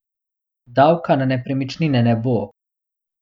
Davka na nepremičnine ne bo!